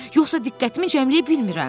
yoxsa diqqətimi cəmləyə bilmirəm.